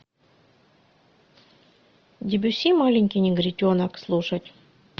дебюсси маленький негритенок слушать